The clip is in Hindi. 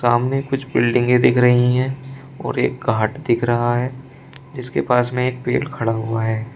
सामने कुछ बिल्डिंगे दिख रही है और एक घाट दिख रहा है जिसके पास में एक पेड़ खड़ा हुआ है।